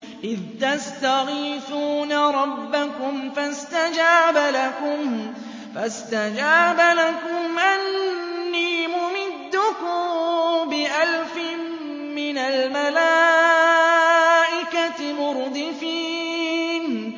إِذْ تَسْتَغِيثُونَ رَبَّكُمْ فَاسْتَجَابَ لَكُمْ أَنِّي مُمِدُّكُم بِأَلْفٍ مِّنَ الْمَلَائِكَةِ مُرْدِفِينَ